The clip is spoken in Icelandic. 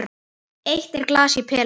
Eitt er glas í pela.